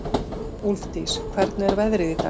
Úlfdís, hvernig er veðrið í dag?